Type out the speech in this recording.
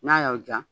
N'a y'aw ja